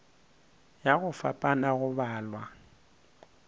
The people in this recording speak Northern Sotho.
ya go fapana go balwa